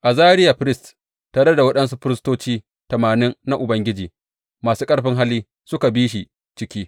Azariya firist tare da waɗansu firistoci tamanin na Ubangiji masu ƙarfin hali suka bi shi ciki.